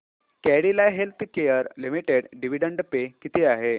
Cadila healthcare limited dividend pay किती आहे